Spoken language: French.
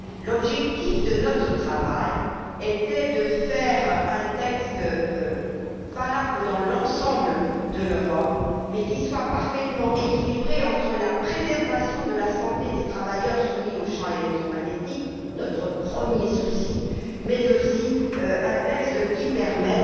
L'objectif de notre travail était de faire un texte valable dans l'ensemble de l'Europe, mais qui soit parfaitement équilibré entre la préservation de la santé des travailleurs soumis aux champs électromagnétiques notre premier souci et